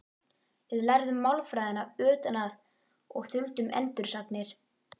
Við lærðum málfræðina utan að og þuldum endursagnir.